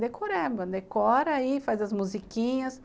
decoreba, decora aí, faz as musiquinhas.